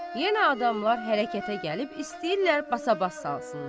Yenə adamlar hərəkətə gəlib istəyirlər basa-bas salsınlar.